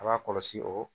A b'a kɔlɔsi o